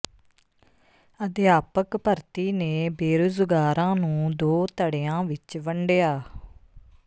ਅਧਿਆਪਕ ਭਰਤੀ ਨੇ ਬੇਰੁਜ਼ਗਾਰਾਂ ਨੂੰ ਦੋ ਧੜਿਆਂ ਵਿੱਚ ਵੰਡਿਆ